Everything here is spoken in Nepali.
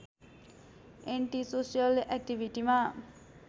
एन्टीसोसल एक्टिभिटीमा